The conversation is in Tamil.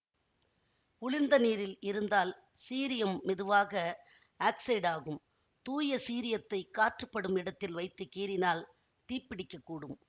குளிர்ந்த நீரில் இருந்தால் சீரியம் மெதுவாக ஆக்ஸைடாகும் தூய சீரியத்தை காற்றுபடும் இடத்தில் வைத்து கீறினால் தீப்பிடிக்கக்கூடும்